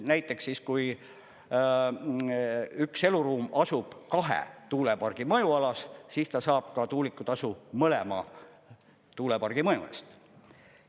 Näiteks siis, kui üks eluruum asub kahe tuulepargi mõjualas, siis ta saab ka tuulikutasu mõlema tuulepargi mõju eest.